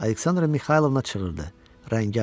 Aleksandra Mixaylovna çığırdı, rəngi ağardı.